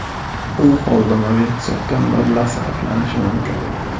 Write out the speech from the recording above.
U holda mobil hisobdan mablag‘ sarflanishi mumkin.